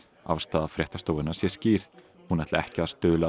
afstaða fréttastofunnar sé skýr hún ætli ekki að stuðla